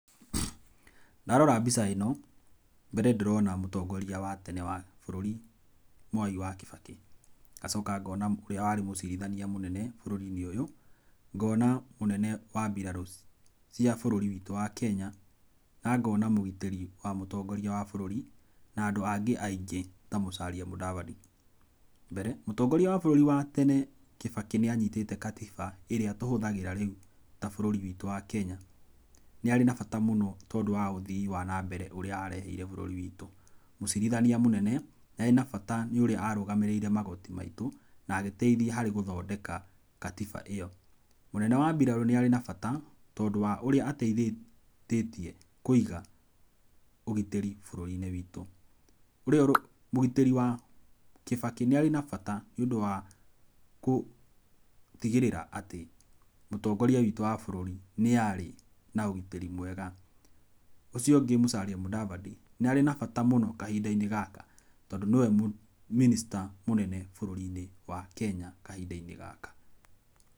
Ndarora mbica ĩno, mbere ndĩrona mũtongoria watene wa bũrũri Mwai wa Kibaki, ngacoka ngona ũrĩa warĩ mũcirithania mũnene bũrũri-inĩ ũyũ, ngona mũnene wa biraro cia bũrũri witũ wa Kenya, nangona mũgitĩri wa mũtongoria wa bũrũri, nandũ angĩ aingĩ ta Musali Mudavadi, mbere mũtongoria wa bũrũri wa tene Kibaki nĩ anyitĩte gatiba ĩrĩa tũhũthagĩra rĩu ta bũrũri witũ wa Kenya, nĩarĩ na bata mũno tondũ wa ũthii wa nambere ũrĩa areheire bũrũri witũ, mũcirithania mũnene nĩarĩ na bata nĩũrĩa arũgamĩrĩire magoti maitũ, nagĩteithia harĩ gũthondeka katiba ĩyo, mũnene wa mbirarũ nĩarĩ na bata, tondũ wa ũrĩa ateithĩtie kwĩiga ũgitĩri bũrũri-inĩ witũ, mũgitĩri wa kibaki nĩarĩ na bata nĩũndũ wa kũtigĩrĩra atĩ mũtongoria witũ wa bũrũri nĩarĩ na ũgitĩri mwega, ũcio ũngĩ Musalia Mudavadi, nĩarĩ na bata mũno kahinda-inĩ gaka, tondũ nĩwe mũ Minister mũnene bũrũri-inĩ wa Kenya kahinda-inĩ gaka.